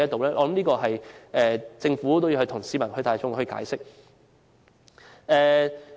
依我之見，政府也要就此向市民大眾解釋。